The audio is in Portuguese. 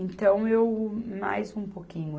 Então, eu mais um pouquinho.